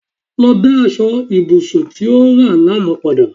Lọ dá aṣọ ibùsùn tí o rà lánàá padà